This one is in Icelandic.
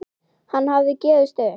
Hann hafði gefist upp.